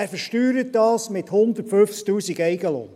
Er versteuert dies mit 150’000 Franken Eigenlohn.